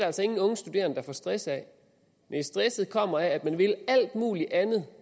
altså ingen unge studerende der får stress af næh stressen kommer af at man vil alt muligt andet